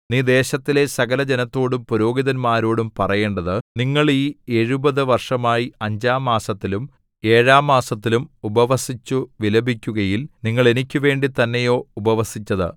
നീ ദേശത്തിലെ സകലജനത്തോടും പുരോഹിതന്മാരോടും പറയേണ്ടത് നിങ്ങൾ ഈ എഴുപത് വർഷമായി അഞ്ചാം മാസത്തിലും ഏഴാം മാസത്തിലും ഉപവസിച്ചു വിലപിക്കുകയിൽ നിങ്ങൾ എനിക്കുവേണ്ടി തന്നെയോ ഉപവസിച്ചത്